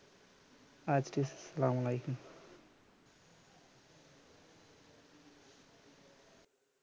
আরটিইস্লামালাইকুম